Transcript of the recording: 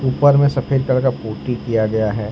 ऊपर में सफेद कलर का पुट्टी किया गया है।